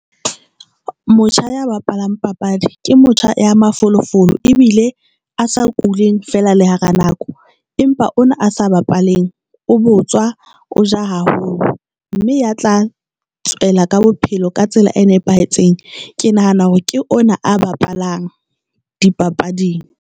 Motjha ya bapalang papadi ke motjha ya mafolofolo ebile a sa kuleng fela le hara nako. Empa ona a sa bapaleng, o botswa o ja haholo mme ya tla tswela ka bophelo ka tsela e nepahetseng. Ke nahana hore ke ona a bapalang dipapading.